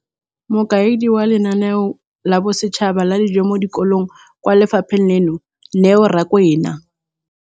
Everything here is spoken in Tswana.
Mokaedi wa NSNP kwa lefapheng leno, Neo Rakwena,